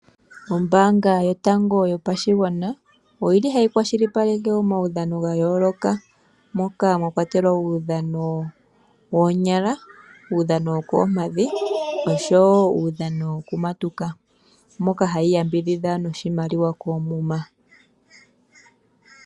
Ombanga yotango yopashigwana oyili hayi kwalishipaleke omaudhano woonyala, uudhano wokomampadhi osho woo uudhano wokumatuka mpoka hayi yambidhidha noshimaliw koomuma.